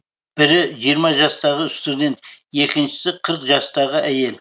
бірі жиырма жастағы студент екіншісі қырық жастағы әйел